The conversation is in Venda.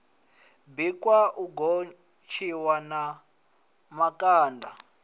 bikwa u gotshiwa na makanda